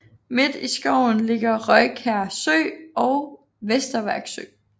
Midt i skoven ligger Røjkær Sø og Vesterværk Sø